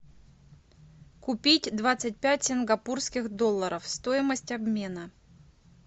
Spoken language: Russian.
купить двадцать пять сингапурских долларов стоимость обмена